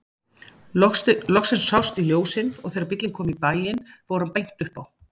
Loksins sást í ljósin og þegar bíllinn kom í bæinn fór hann beint upp á